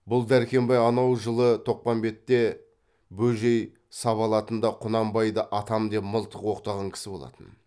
бұл дәркембай анау жылы тоқпамбетте бөжей сабалатында құнанбайды атам деп мылтық оқтаған кісі болатын